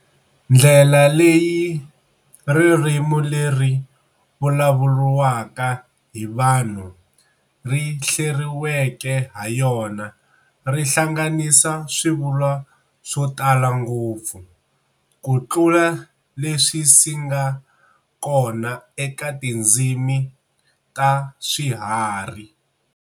Ndlela leyi ririmi leri vulavuriwaka hi vanhu ri hleriweke hayona ri hlanganisa swivulwa swo tala ngopfu kutlula leswisinga kona eka tindzimi ta swiharhi.